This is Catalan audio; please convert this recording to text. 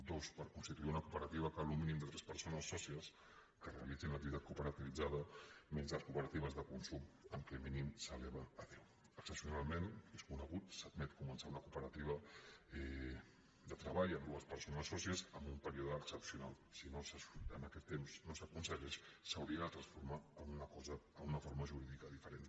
dos per constituir una cooperativa cal un mínim de tres persones sòcies que realitzin l’activitat cooperativitzada menys les cooperatives de consum en què el mínim s’eleva a deu excepcionalment és conegut s’admet començar una cooperativa de treball amb dues persones sòcies amb un període excepcional si en aquest temps no s’aconsegueix s’hauria de transformar en una forma jurídica diferent